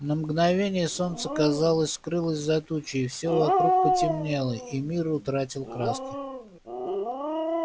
на мгновение солнце казалось скрылось за тучей всё вокруг потемнело и мир утратил краски